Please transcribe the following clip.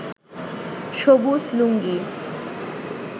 সবুজ লুঙ্গি